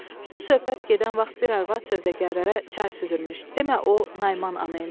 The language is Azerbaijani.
Bu söhbət gedən vaxt bir arvad sövdəgərlərə çay süzürmüş, demə o Naiman ana imiş.